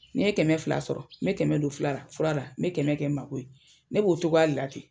N'i ye kɛmɛ fila sɔrɔ, n be kɛmɛ don furala, n be kɛmɛ kɛ n mako ye. Ne b'o cogoya de la ten.